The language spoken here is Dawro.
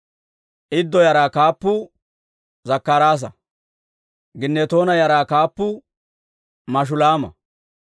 Iddo yaraa kaappuu Zakkaraasa. Ginnetoona yaraa kaappuu Mashulaama.